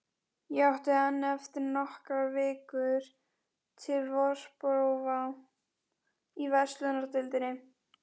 Ég átti enn eftir nokkrar vikur til vorprófa í verslunardeildinni.